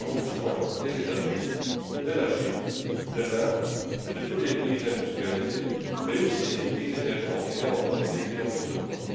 Nous avons besoin des États Unis, de la Chine, de l'Inde, de tous les pays industrialisés, mais aussi des pays émergents et bien entendu des pays en développement.